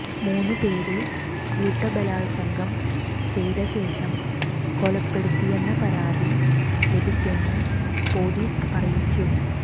മൂന്ന് പേര് കൂട്ടബലാത്സംഗം ചെയ്ത ശേഷം കൊലപ്പെടുത്തിയെന്ന പരാതി ലഭിച്ചെന്ന് പൊലീസ് അറിയിച്ചു